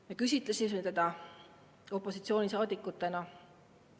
Me küsitlesime teda opositsioonisaadikutena.